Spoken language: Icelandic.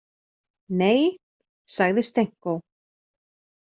Nei, sagði Stenko.